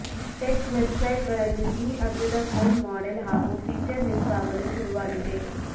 tech website ಗಳಲ್ಲಿ ಈ ಅಗ್ಗದ ಫೋನ್ ಮಾಡೆಲ್ ಹಾಗೂ ಫೀಚರ್ ಲೀಕ್ ಆಗಲು ಶುರುವಾಗಿದೆ